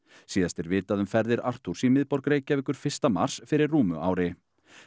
síðast er vitað um ferðir Arturs í miðborg Reykjavíkur fyrsta mars fyrir rúmu ári